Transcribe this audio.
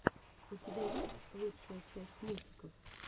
у тебя есть лучшая часть мультиков